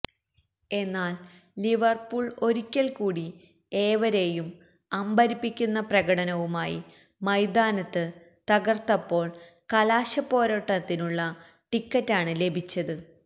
എന്നാല് ലിവര്പൂള് ഒരിക്കല് കൂടി ഏവരേയും അമ്പരപ്പിക്കുന്ന പ്രകടനവുമായി മൈതാനത്ത് തകര്ത്തപ്പോള് കലാശപ്പോരാട്ടത്തിനുള്ള ടിക്കറ്റാണ് ലഭിച്ചത്